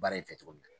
Baara in fɛ cogo min na